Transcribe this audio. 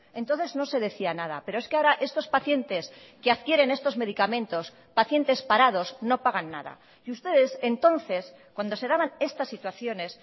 entonces no se decía nada pero es que ahora estos pacientes que adquieren estos medicamentos pacientes parados no pagan nada y ustedes entonces cuando se daban estas situaciones